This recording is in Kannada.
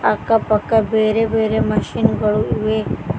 ಅಕ್ಕ ಪಕ್ಕ ಬೇರೆ ಬೇರೆ ಮಷೀನ್ ಗಳು ಇವೆ.